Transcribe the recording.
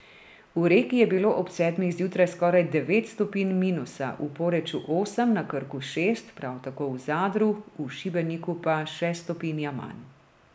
V Reki je bilo ob sedmih zjutraj skoraj devet stopinj minusa, v Poreču osem, na Krku šest, prav tako v Zadru, v Šibeniku pa še stopinja manj.